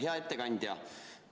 Hea ettekandja!